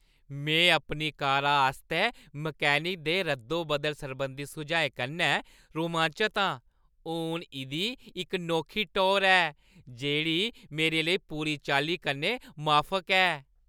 मैं अपनी कारा आस्तै मैकेनिक दे रद्दो-बदल सरबंधी सुझाएं कन्नै रोमांचत आं। हून इंदी इक नोखी टौह्‌र ऐ जेह्ड़ी मेरे लेई पूरी चाल्ली कन्नै माफक ऐ।